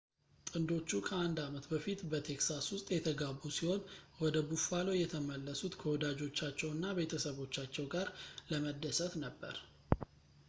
ጥንዶቹ ከአንድ አመት በፊት በtexas ውስጥ የተጋቡ ሲሆን ወደ buffalo የተመለሱት ከወዳጆቻቸውና ቤተሰቦቻቸው ጋር ለመደሰት ነበር